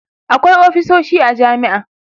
akwai ofisoshi a jami'a